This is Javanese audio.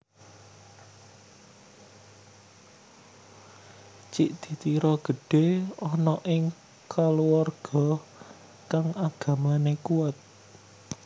Cik di Tiro gedhe ana ing kaluwarga kang agamane kuat